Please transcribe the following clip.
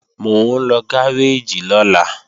Mò ń lọ gáréèjì lọ́la